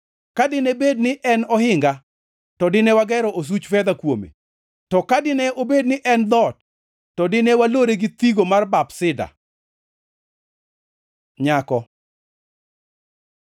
Ka dine bed ni en ohinga, to dine wagero osuch fedha kuome. To ka dine obed ni en dhoot, to dine walore gi thigo mar bap sida. Nyako